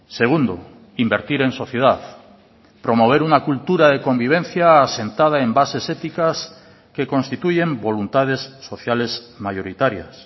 segundo invertir en sociedad promover una cultura de convivencia asentada en bases éticas que constituyen voluntades sociales mayoritarias